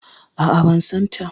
A'a ban san ta